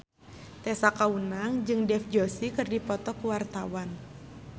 Tessa Kaunang jeung Dev Joshi keur dipoto ku wartawan